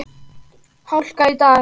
Hláka í dag.